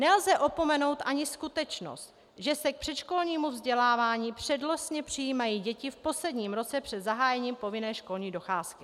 Nelze opomenout ani skutečnost, že se k předškolnímu vzdělávání přednostně přijímají děti v posledním roce před zahájením povinné školní docházky.